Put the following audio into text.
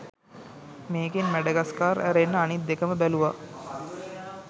මේකෙන් මැඩගස්කාර් ඇරෙන්න අනිත් දෙකම බැලුවා